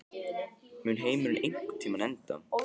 Mun heimurinn einhvern tímann enda?